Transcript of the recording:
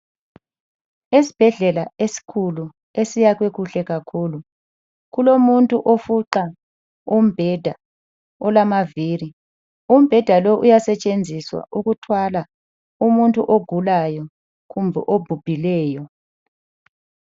Esibhedlela esikhulu esakhiwe kuhle kakhulu. Kulomuntu ofuqa umbheda olamaviri ,umbheda lowu uyasetshenziswa ukuthwala umuntu ogulayo kumbe obhubhileyo.